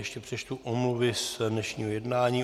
Ještě přečtu omluvy z dnešního jednání.